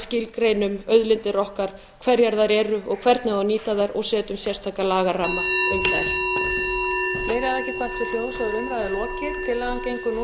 skilgreinum auðlindir okkar hverjar þær eru og hvernig á að nýta þær og setja sérstakan lagaramma um þær